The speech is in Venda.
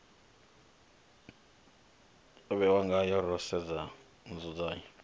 vhewa ngayo ro sedza nzudzanyo